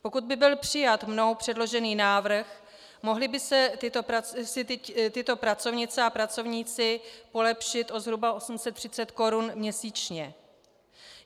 Pokud by byl přijat mnou předložený návrh, mohly by si tyto pracovnice a pracovníci polepšit zhruba o 830 korun měsíčně.